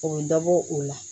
O bɛ dɔ bɔ o la